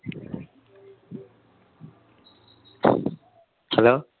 hello